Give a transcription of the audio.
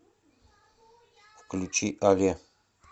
включи але